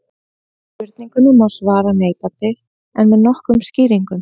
Spurningunni má svara neitandi en með nokkrum skýringum.